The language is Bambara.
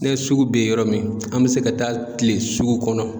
Ne sugu be yɔrɔ min, an be se ka taa kile sugu kɔnɔ